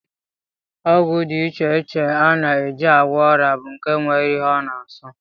Ọgwụ dị iche iche a na-eji agwọ ọrịa bụ nke nwere ihe ọ na-asọ